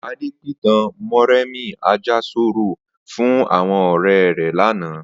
Adé pìtàn Mó̩rèmí Àjàsorò fún àwo̩n ò̩ré̩ lánàá